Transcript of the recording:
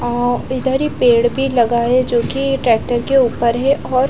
आ इधर ही पेड़ भी लगा है जो कि ट्रैक्टर के ऊपर है और --